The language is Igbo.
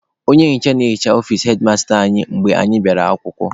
Onye nhicha na-ehicha ọfici hedmasta anyị mgbe anyị bịara akwụkwọ.